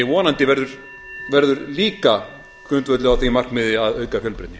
vonandi verður líka grundvöllur á því markmiði að auka fjölbreytni